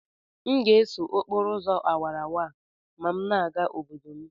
M ga-eso okporo ụzọ awara awara a ma m na-aga obodo m